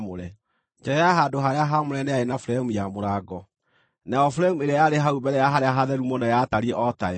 Nja ya handũ-harĩa-haamũre nĩ yarĩ na buremu ya mũrango, nayo buremu ĩrĩa yarĩ hau mbere ya Harĩa-Hatheru-Mũno yatariĩ o tayo.